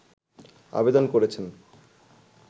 আবেদন করেছেন